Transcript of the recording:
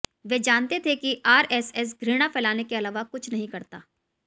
वे जानते थे कि आरएसएस घृणा फैलाने के अलावा कुछ नहीं करता